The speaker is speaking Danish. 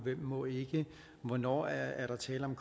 hvem må ikke hvornår er er der tale om